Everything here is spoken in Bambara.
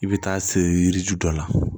I bɛ taa se yiri ju dɔ la